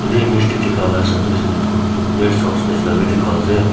image te dekha la hisap te hoishe koile toh etu rest house nishna bi dekha ase.